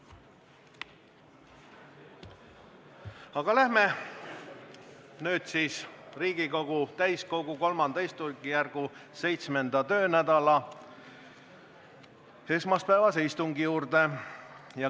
Nüüd aga läheme Riigikogu täiskogu III istungjärgu 7. töönädala esmaspäevase istungi juurde.